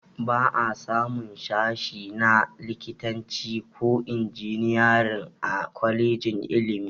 Ba a samun sashe na likitanci ko injiniyarin a kwalejin ilmin